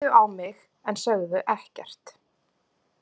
Þau horfðu á mig en sögðu ekkert.